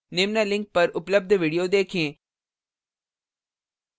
निम्न link पर उपलब्ध video देखें